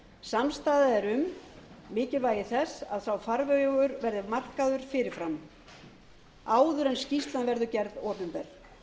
er um mikilvægi þess að sá farvegur verði markaður fyrir fram áður en skýrslan verður gerð opinber